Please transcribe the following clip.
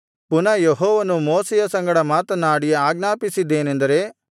ಪುನಃ ಯೆಹೋವನು ಮೋಶೆಯ ಸಂಗಡ ಮಾತನಾಡಿ ಆಜ್ಞಾಪಿಸಿದ್ದೇನೆಂದರೆ